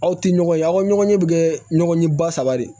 Aw tɛ ɲɔgɔn ye aw ka ɲɔgɔn ɲɛ bi kɛ ɲɔgɔn ɲɛ ba saba de ye